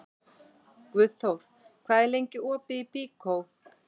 Guðþór, hvað er lengi opið í Byko?